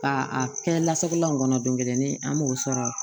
Ka a kɛ lasagun la in kɔnɔ don kelen an b'o sɔrɔ